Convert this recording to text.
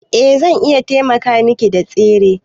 Eh zan iya taimaka Miki da tsere.